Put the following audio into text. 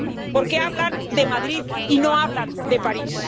¿Por qué hablan de Madrid y no hablan de París?